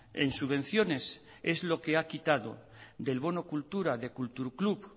en subvenciones es lo que ha quitado del bono cultura de kulturclub